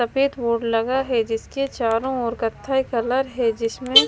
सफेद बोर्ड लगा है जिसके चारों ओर कथाई कलर है जिसमें--